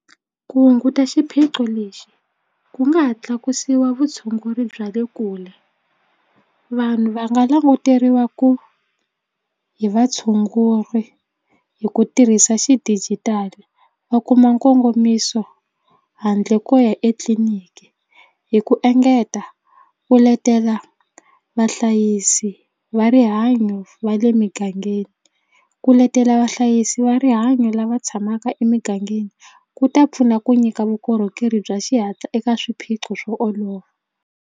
Ku hunguta xiphiqo lexi ku nga ha tlakusiwa vutshunguri bya le kule vanhu va nga languteriwa ku hi vatshunguri hi ku tirhisa xidijitali va kuma nkongomiso handle ko ya etliliniki hi ku engeta ku letela vahlayisi va rihanyo va le migangeni ku letela vahlayisi va rihanyo lava tshamaka emigangeni ku ta pfuna ku nyika vukorhokeri bya xihatla eka swiphiqo swo olova.